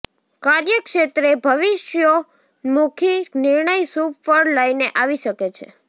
કાર્યક્ષેત્રે ભવિષ્યોન્મુખી નિર્ણય શુભ ફળ લઈને આવી શકે છે